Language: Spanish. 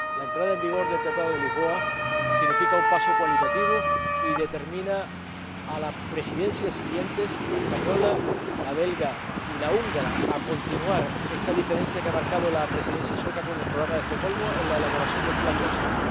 La entrada en vigor del Tratado de Lisboa significa un paso cualitativo y determina a las presidencias siguientes, la española, la belga y la húngara, a continuar esta diferencia que ha marcado la Presidencia sueca con el Programa de Estocolmo en la elaboración del plan de acción.